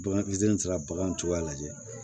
Bagan fitiinin sera bagan cogoya la